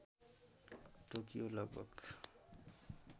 Tokyo लगभग